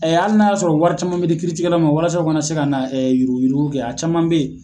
Hali n'a y'a sɔrɔ wari caman bɛ ti kiiritikɛla ma walasaso u kana na se ka na yuruguyurugu kɛ a caman bɛ yen